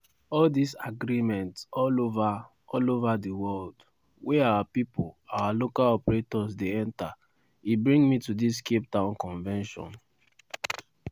"all dis agreement all ova all ova di world wey our pipo our local operators dey enta e bring me to dis capetown convention